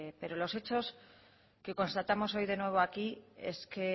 pero los hechos que constatamos hoy de nuevo aquí es que